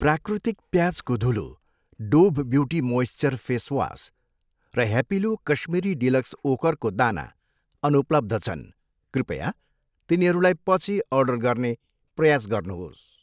प्राकृतिक प्याजको धुलो, Dove beauty moisture face wash र ह्यापिलो काश्मिरी डिलक्स ओखरको दाना अनुपलब्ध छन्, कृपया तिनीहरूलाई पछि अर्डर गर्ने प्रयास गर्नुहोस्।